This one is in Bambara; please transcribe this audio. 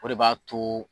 O de b'a to